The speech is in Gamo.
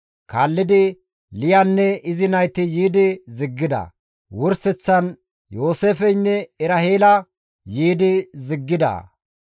Kaallidi Liyaynne izi nayti yiidi ziggida; wurseththan Yooseefeynne Eraheela yiidi ziggida.